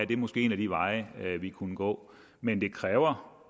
det måske en af de veje vi kunne gå men det kræver